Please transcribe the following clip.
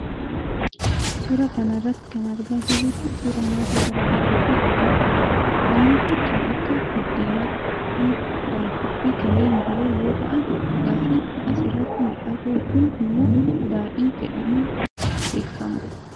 Suura kana irratti kan argaa jirru kun, suura nyaata garaa garaa fi dhugaatiiti. Nyaanni kun kan akka:buddeenaa ,foon daabboo fi kanneen biroo yoo ta'an, dhugaatiin as irratti mul'atu kun immoo daadhii jedhamuun baakama.